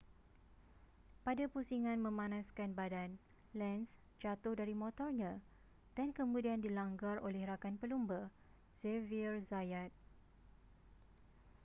pada pusingan memanaskan badan lenz jatuh dari motornya dan kemudian dilanggar oleh rakan pelumba xavier zayat